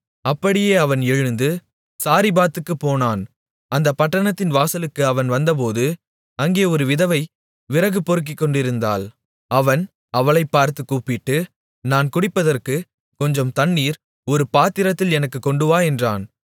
அப்படியே அவன் எழுந்து சாரிபாத்துக்குப் போனான் அந்தப் பட்டணத்தின் வாசலுக்கு அவன் வந்தபோது அங்கே ஒரு விதவை விறகு பொறுக்கிக்கொண்டிருந்தாள் அவன் அவளைப் பார்த்துக் கூப்பிட்டு நான் குடிப்பதற்குக் கொஞ்சம் தண்ணீர் ஒரு பாத்திரத்தில் எனக்குக் கொண்டுவா என்றான்